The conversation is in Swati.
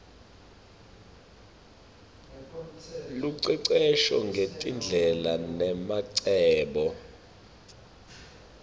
lucecesho ngetindlela nemacebo